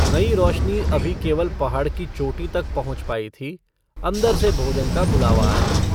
नई रोशनी अभी केवल पहाड़ की चोटी तक पहुँच पाई थी। अन्दर से भोजन का बुलावा आया।